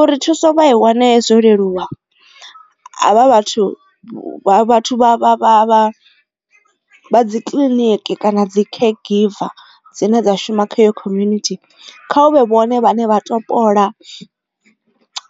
Uri thuso vha i wane zwo leluwa havha vhathu vha vhathu vha vha vha vha dzi kiḽiniki kana dzi caregiver dzine dza shuma khayo community kha hu vhe vhone vhane vha topola